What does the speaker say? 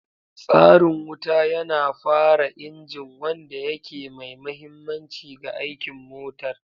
Tsarin wuta yana fara injin, wanda yake mai mahimmanci ga aikin motar.